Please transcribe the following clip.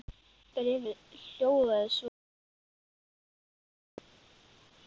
Bréfið hljóðaði svo í íslenskri þýðingu